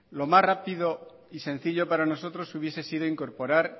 lo más rápido y sencillo para nosotros hubiese sido incorporar